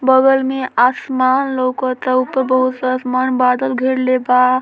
बगल में आसमान लोकता ऊपर बहुत सारा आसमान बदल घेरले बा |